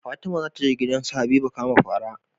Fatima zataje gidan su habiba kama fara